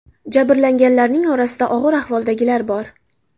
Jabrlanganlarning orasida og‘ir ahvoldagilar bor.